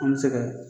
An bɛ se kɛ